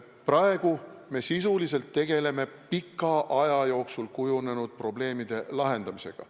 Praegu me sisuliselt tegeleme pika aja jooksul kujunenud probleemide lahendamisega.